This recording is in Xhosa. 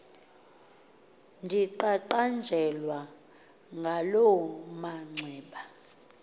ndiqaqanjelwa ngaloo manxeba